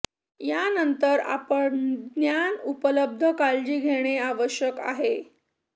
यानंतर आपण ज्ञान उपलब्ध काळजी घेणे आवश्यक आहे